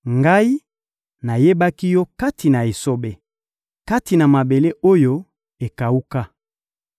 Ngai, nayebaki yo kati na esobe, kati na mabele oyo ekawuka.